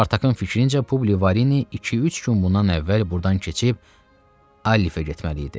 Spartakın fikrincə Publi Varini iki-üç gün bundan əvvəl burdan keçib Alifə getməli idi.